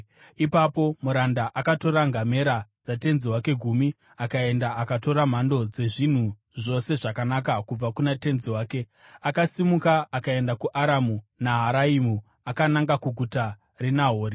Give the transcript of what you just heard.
Ipapo muranda akatora ngamera dzatenzi wake gumi akaenda, akatora mhando dzezvinhu zvose zvakanaka kubva kuna tenzi wake. Akasimuka akaenda kuAramu Naharaimu akananga kuguta reNahori.